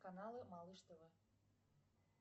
каналы малыш тв